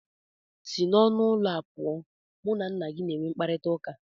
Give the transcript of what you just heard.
Si n'ọnụ ụlọ a pụọ, mụ na nna gị na-enwe mkparịtaụka!!!